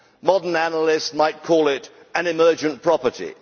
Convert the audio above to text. Modern analysts might call it an emergent property'.